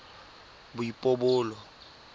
boipobolo